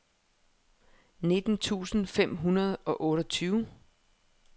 nitten tusind fem hundrede og otteogtyve